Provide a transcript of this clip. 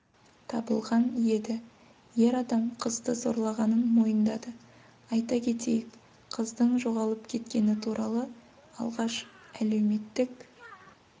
табылған еді ер адам қызды зорлағанын мойындады айта кетейік қыздың жоғалып кеткені туралы алғаш әлеуметтік